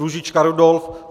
Růžička Rudolf